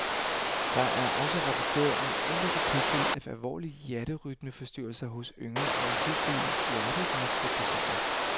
Der er også rapporteret om enkelte tilfælde af alvorlige hjerterytmeforstyrrelser hos yngre og hidtil hjerteraske personer.